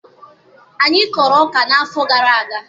Anyị kọrọ ọka n'afọ gara aga